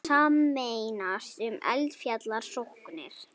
Sameinast um eldfjallarannsóknir